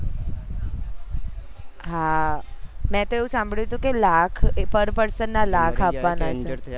હા મેં તો એવું સાંભળ્યું હતું કે લાખ એ per person ના લાખ આપવા ના છે